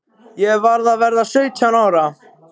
Ég var að verða sautján ára.